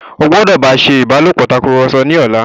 o gbódò bá ṣe ìbálòpọ̀ Tàkùrọ̀sọ ní ọlá!